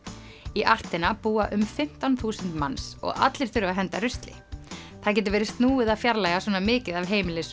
í búa um fimmtán þúsund manns og allir þurfa að henda rusli það getur verið snúið að fjarlægja svona mikið af